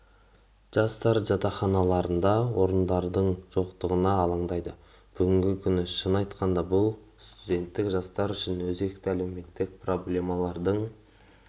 жастар жатақханаларында орындардың жоқтығына алаңдайды бүгінгі күні шынын айтқанда бұл студенттік жастар үшін өзекті әлеуметтік проблемалардың